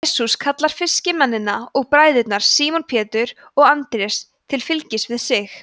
jesús kallar fiskimennina og bræðurna símon pétur og andrés til fylgis við sig